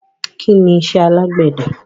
Kí ni iṣẹ́ alágbède?